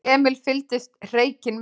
Emil fylgdist hreykinn með.